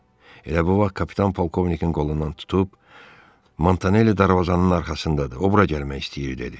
Elə bu vaxt kapitan polkovnikin qolundan tutub, Montanelli darvazanın arxasındadır, o bura gəlmək istəyir dedi.